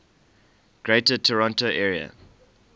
greater toronto area